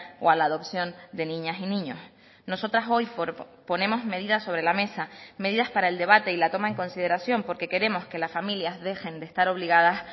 o a la adopción de niñas y niños nosotras hoy ponemos medidas sobre la mesa medidas para el debate y la toma en consideración porque queremos que las familias dejen de estar obligadas